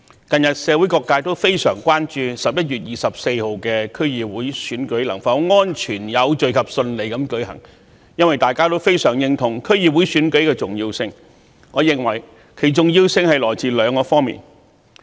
近日社會各界都非常關注11月24日的區議會選舉能否安全、有序及順利地舉行，因為大家均非常認同區議會選舉的重要性，我認為其重要性來自兩方面。